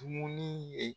Dumuni ye